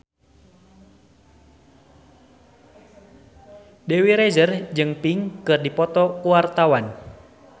Dewi Rezer jeung Pink keur dipoto ku wartawan